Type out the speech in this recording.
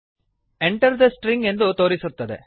Enter the stringಎಂಟರ್ the string ಎಂದು ತೋರಿಸುತ್ತದೆ